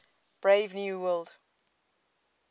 brave new world